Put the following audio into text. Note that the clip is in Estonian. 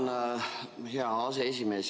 Tänan, hea aseesimees!